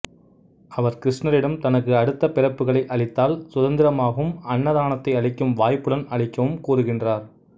அவர் கிருஷ்ணரிடம் தனக்கு அடுத்த பிறப்புகளை அளித்தால் சுதந்திரமாவும் அன்னதானத்தை அளிக்கும் வாய்ப்புடன் அளிக்கவும் கூறுகின்றார்